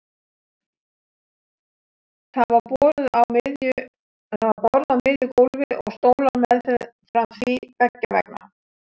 Það var borð á miðju gólfi og stólar meðfram því beggja vegna.